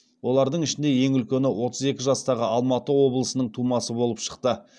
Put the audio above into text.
олардың ішінде ең үлкені отыз екі жастағы алматы облысының тумасы болып шықты